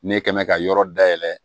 Ne kɛ mɛ ka yɔrɔ dayɛlɛ